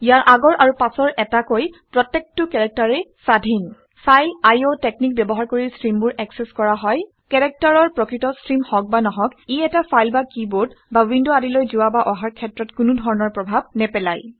ইয়াৰ আগৰ আৰু পাছৰ এটাকৈ প্ৰত্যেকটো কেৰেক্টাৰেই স্বাধীন ফাইল আইঅ টেকনিক ব্যৱহাৰ কৰি ষ্ট্ৰিমবোৰ একচেচ কৰা হয়। কেৰেক্টাৰৰ প্ৰকৃত ষ্ট্ৰিম হওক বা নহওক ই এটা ফাইল বা কিবৰ্ড বা উইণ্ড আদিলৈ যোৱা বা অহাৰ ক্ষেত্ৰত কোনো ধৰণৰ প্ৰভাৱ নেপেলায়